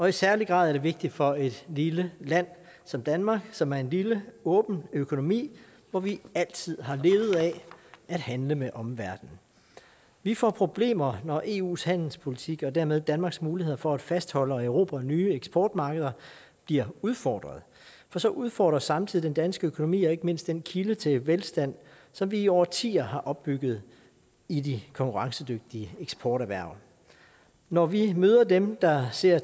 i særlig grad vigtigt for et lille land som danmark som er en lille åben økonomi hvor vi altid har levet af at handle med omverdenen vi får problemer når eus handelspolitik og dermed danmarks muligheder for at fastholde og erobre nye eksportmarkeder bliver udfordret for så udfordres samtidig den danske økonomi og ikke mindst den kilde til velstand som vi i årtier har opbygget i de konkurrencedygtige eksporterhverv når vi møder dem der ser